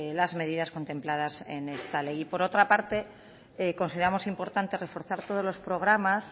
las medidas contempladas en esta ley y por otra parte consideramos importante reforzar todos los programas